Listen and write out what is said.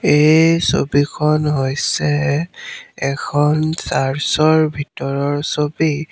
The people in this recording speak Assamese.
এই ছবিখন হৈছে এখন চাৰ্চৰ ভিতৰৰ ছবি।